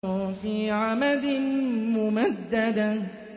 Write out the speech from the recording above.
فِي عَمَدٍ مُّمَدَّدَةٍ